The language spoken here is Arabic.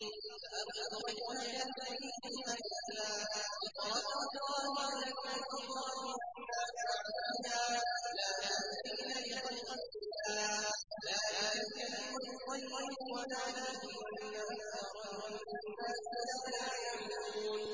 فَأَقِمْ وَجْهَكَ لِلدِّينِ حَنِيفًا ۚ فِطْرَتَ اللَّهِ الَّتِي فَطَرَ النَّاسَ عَلَيْهَا ۚ لَا تَبْدِيلَ لِخَلْقِ اللَّهِ ۚ ذَٰلِكَ الدِّينُ الْقَيِّمُ وَلَٰكِنَّ أَكْثَرَ النَّاسِ لَا يَعْلَمُونَ